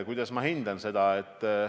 Kuidas ma seda hindan?